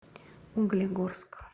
углегорск